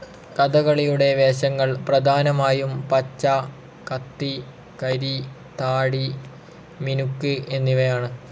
കഥകളിയുടെ വേഷങ്ങൾ പ്രധാനമായും പച്ച, കത്തി, കരി, താടി, മിനുക്ക് എന്നിവയാണ്.